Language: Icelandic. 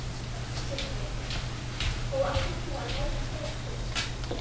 Sindri: Og ætlar þú að veiða stóran fisk?